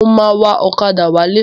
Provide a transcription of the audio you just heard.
Mo máa wa ọ̀kadà wálé.